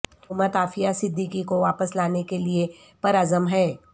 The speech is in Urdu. حکومت عافیہ صدیقی کو واپس لانے کے لیے پر عزم ہے